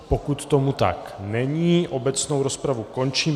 Pokud tomu tak není, obecnou rozpravu končím.